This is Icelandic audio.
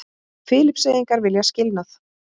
Filippseyingar vilja skilnað